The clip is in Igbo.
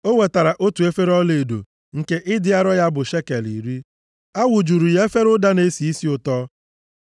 O wetara otu efere ọlaedo, nke ịdị arọ ya bụ shekel iri. A wụjuru efere a ụda na-esi isi ụtọ.